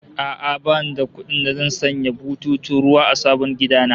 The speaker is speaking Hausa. A'a, bani da kuɗin da zan sanya bututun ruwa a sabon gida na